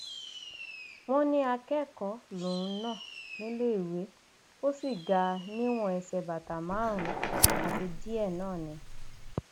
ó ní ìgbìmọ náà tún dábàá pé kíjọba ṣe máàpù ìyẹn atọnà tí yóò máa tọka ẹka ìjẹko kọọkan